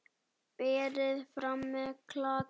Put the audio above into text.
Berið fram með klaka.